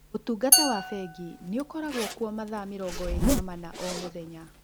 ũtungata wa bengi nĩ ũkoragũo kuo mathaa mĩrongo ĩrĩ na mana o mũthenya.